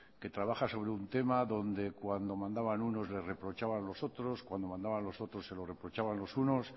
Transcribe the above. que trabaja sobre un tema donde cuando mandaban uno les reprochaban los otros cuando mandaban los otros se lo reprochaban los unos